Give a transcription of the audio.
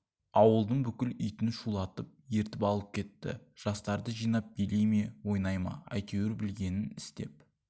ауылдың бүкіл итін шулатып ертіп ала кетті жастарды жинап билей ме ойнай ма әйтеуір білгенін істеп